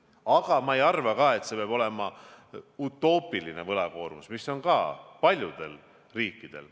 Aga ma ei arva ka, et peab olema utoopiline võlakoormus, mis on paljudel riikidel.